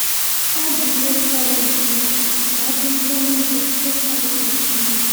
Ọ bụ ihe fọrọ nke nta ka ọ bụrụ ihe niile Sátán nwere ịnye.